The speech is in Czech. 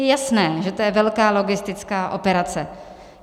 Je jasné, že to je velká logistická operace.